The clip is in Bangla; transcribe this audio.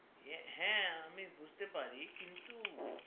হ্যা আমি বুজতে পারি কিন্তু